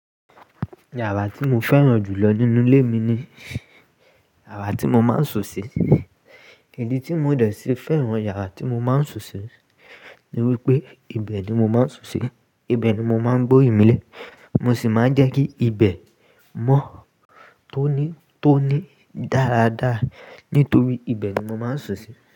Yàrá tí mo fẹ́ràn jù lọ nínú ilé mi ni yàrá tí mo máa ń sùn sí. Ìdí tí mo dẹ̀ sí fẹ́ràn yàrá tí mo máa ń sùn sí ni wípé ibẹ̀ ni mo máa ń sùn sí, ibẹ̀ ni mo máa ń gbóri mílẹ̀, mo sì máa ń jẹ́ kí ibẹ̀ mọ́ tóní-tóní dáradára nítorí ibẹ̀ ni mo máa ń sùn sí.